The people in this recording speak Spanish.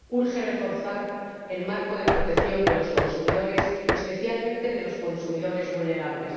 Urge reforzar el marco de protección de los consumidores, especialmente de los consumidores vulnerables.